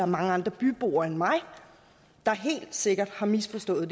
mange andre byboere end mig der helt sikkert har misforstået